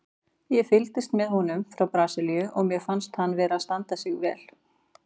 Ég fylgist með honum frá Brasilíu og mér finnst hann vera að standa sig vel.